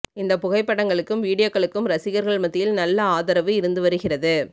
இந்த புகைப்படங்களுக்கும் வீடியோக்களுக்கும் ரசிகர்கள் மத்தியில் நல்ல ஆதரவு இருந்து வருகிறது